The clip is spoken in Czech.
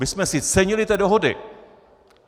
My jsme si cenili té dohody.